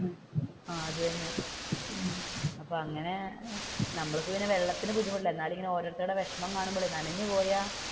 ആഹ് അത് തന്നെ അപ്പൊ അങ്ങനെ നമ്മൾക്ക് പിന്നെ വെള്ളത്തിന് ബുദ്ധിമുട്ടില്ല കാര്യം ഓരോരുത്തരുടെ വിഷമം കാണുമ്പോൾ നനഞ്ഞുപോയാൽ,